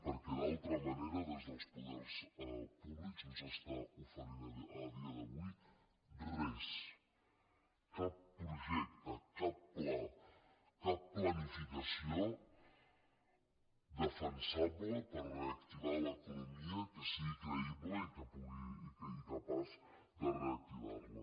perquè d’altra manera des dels poders públics no s’està oferint a dia d’avui res cap projecte cap pla cap planificació defensable per reactivar l’economia que sigui creïble i capaç de reactivar la